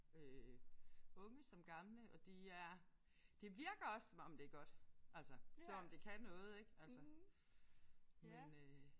Øh unge som gamle og de er det virker også som om det er godt altså som om det kan noget ik altså men øh